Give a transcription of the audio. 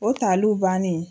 O taliw bannen.